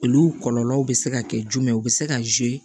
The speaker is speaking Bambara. Olu kɔlɔlɔw bɛ se ka kɛ jumɛn ye u bɛ se ka